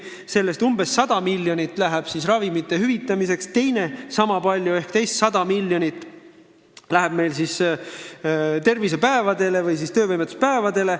Sellest umbes 100 miljonit läheb ravimite tasu hüvitamiseks ja teist sama palju ehk veel 100 miljonit kulub tervisepäevadele või siis töövõimetuspäevadele.